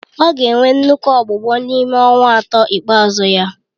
Ọ ga-enwe nnukwu ọgbụgbọ n'ime ọnwa atọ ikpeazụ ya